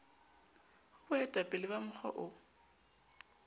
ho boetapele ba mokga o